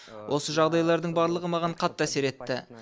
осы жағдайлардың барлығы маған қатты әсер етті